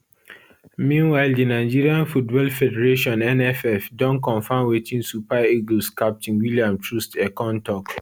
meanwhile di nigeria football federationnff don confam wetin super eagles captain william troostekong tok